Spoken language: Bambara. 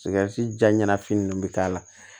ja ɲa fini nunnu bɛ k'a la